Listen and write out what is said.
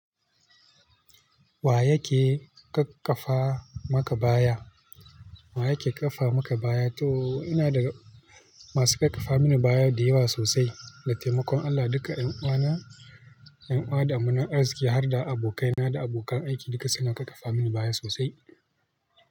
Wa yake ƙaƙƙafa maka baya? Wa yake ƙafa maka baya? To ina da masu ƙarkafa mini baya da yawa sosai. Da taimakon Allah duka ƴan uwana, ƴan uwa da amanar arziki har da abokaina da abokan aiki duk su na ƙarkafa mini baya sosai.